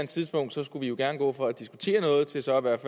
tidspunkt skulle vi jo gerne gå fra at diskutere noget til så i hvert